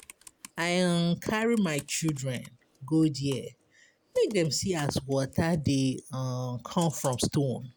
I carry my children go there make dem see as water dey come from stone.